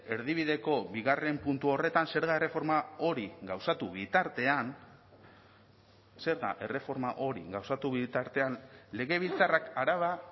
erdibideko bigarren puntu horretan zerga erreforma hori gauzatu bitartean zerga erreforma hori gauzatu bitartean legebiltzarrak araba